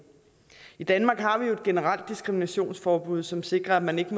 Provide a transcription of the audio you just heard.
i danmark har vi jo et generelt diskriminationsforbud som sikrer at man ikke